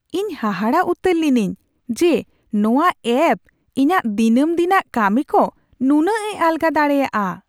ᱤᱧ ᱦᱟᱦᱟᱲᱟᱜ ᱩᱛᱟᱹᱨ ᱞᱤᱱᱟᱹᱧ ᱡᱮ ᱱᱚᱶᱟ ᱮᱹᱯᱷ ᱤᱧᱟᱹᱜ ᱫᱤᱱᱟᱹᱢ ᱫᱤᱱᱟᱜ ᱠᱟᱹᱢᱤᱠᱚ ᱱᱩᱱᱟᱹᱜᱼᱮ ᱟᱞᱜᱟ ᱫᱟᱲᱮᱭᱟᱜᱼᱟ ᱾